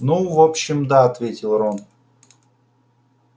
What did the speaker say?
ну в общем да ответил рон